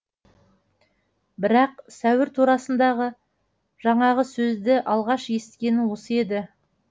бірақ сәуір турасындағы жаңағы сөзді алғаш есіткені осы еді